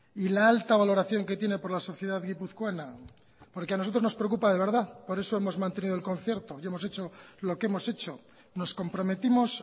y la alta valoración que tiene por la sociedad guipuzcoana porque a nosotros nos preocupa de verdad por eso hemos mantenido el concierto y hemos hecho lo que hemos hecho nos comprometimos